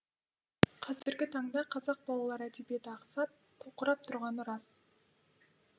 қазіргі таңда қазақ балалар әдебиеті ақсап тоқырап тұрғаны рас